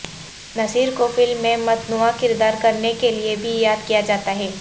نصیر کو فلم میں متنوع کردار کرنے کے لیے بھی یاد کیا جاتا ہے